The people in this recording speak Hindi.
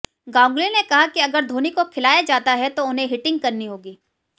गांगुली ने कहा कि अगर धोनी को खिलाया जाता है तो उन्हें हिटिंग करनी होगी